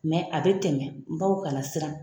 Mɛ a bɛ tɛmɛ, baw kana siran.